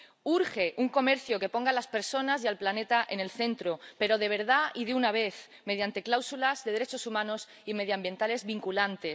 Urge un comercio que ponga a las personas y al planeta en el centro, pero de verdad y de una vez, mediante cláusulas de derechos humanos y medioambientales vinculantes.